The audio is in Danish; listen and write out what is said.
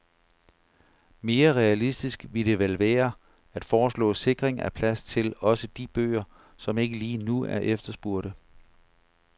Mere realistisk ville det vel være at foreslå sikring af plads til også de bøger, som ikke lige nu er efterspurgte.